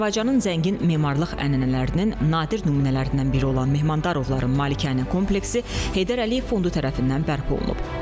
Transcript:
Azərbaycanın zəngin memarlıq ənənələrinin nadir nümunələrindən biri olan Mehmandarovların malikanə kompleksi Heydər Əliyev fondu tərəfindən bərpa olunub.